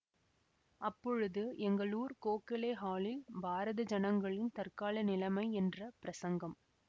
அப்பொழுது எங்களூர் கோகலே ஹாலில் பாரத ஜனங்களின் தற்கால நிலைமை என்ற பிரசங்கம்